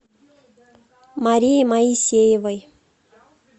марии моисеевой